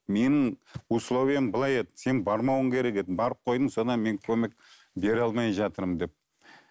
менің условиям былай еді сен бармауың керек еді барып қойдың содан мен көмек бере алмай жатырмын деп